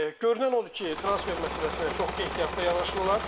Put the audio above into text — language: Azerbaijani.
Görünən odur ki, transfer məsələsinə çox ehtiyatlı yanaşırlar.